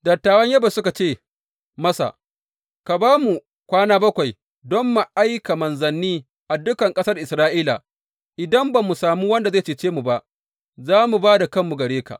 Dattawan Yabesh suka ce masa, Ka ba mu kwana bakwai don mu aika manzanni a dukan ƙasar Isra’ila idan ba mu sami wanda zai cece mu ba, za mu ba da kanmu gare ka.